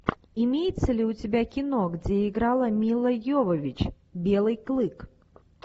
имеется ли у тебя кино где играла мила йовович белый клык